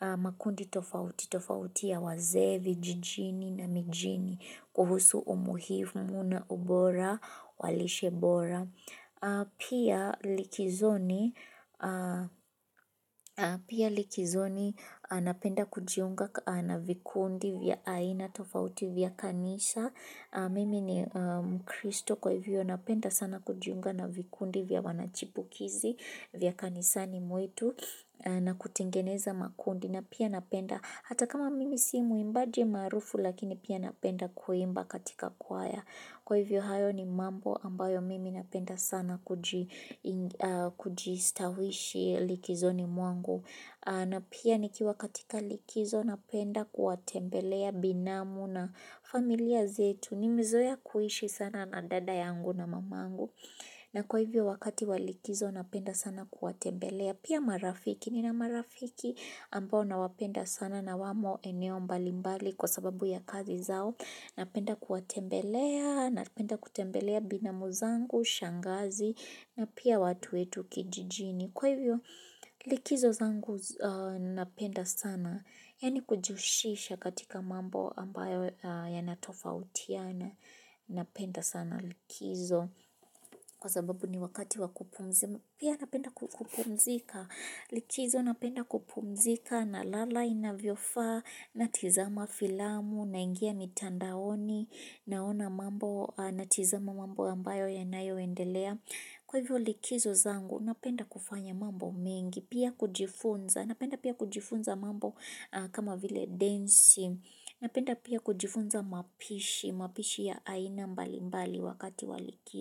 makundi tofauti, tofauti ya wazee vijijini na mijini, kuhusu umuhimu na ubora, wa lishe bora. Pia likizoni napenda kujiunga na vikundi vya aina tofauti vya kanisa mimi ni mkristo kwa hivyo napenda sana kujiunga na vikundi vya wanachipukizi vya kanisani mwetu na kutengeneza makundi na pia napenda hata kama mimi si mwimbaji maarufu lakini pia napenda kuimba katika kwaya kwa hivyo hayo ni mambo ambayo mimi napenda sana kujistawishi likizoni mwangu. Na pia nikiwa katika likizo napenda kuwatembelea binamu na familia zetu. Nimezoea kuishi sana na dada yangu na mamangu. Na kwa hivyo wakati wa likizo napenda sana kuwatembelea. Pia marafiki. Nina marafiki ambayo nawapenda sana na wamo eneo mbalimbali kwa sababu ya kazi zao. Napenda kuwatembelea, napenda kutembelea binamu zangu, shangazi, na pia watu wetu kijijini. Kwa hivyo, likizo zangu napenda sana, yaani kujihusisha katika mambo ambayo yanatofautiana napenda sana likizo. Kwa sababu ni wakati wa kupumzika pia napenda kupumzika likizo, napenda kupumzika nalala inavyofaa natizama filamu naingia mitandaoni, naona mambo, natizama mambo ambayo yanayoendelea kwa hivyo likizo zangu, napenda kufanya mambo mengi, pia kujifunza, napenda pia kujifunza mambo kama vile densi, napenda pia kujifunza mapishi, mapishi ya aina mbalimbali wakati wa likizo.